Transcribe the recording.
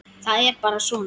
Það er bara svona.